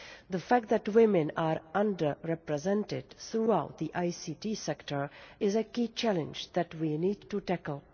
The fact that women are under represented throughout the ICT sector is a key challenge that we need to tackle.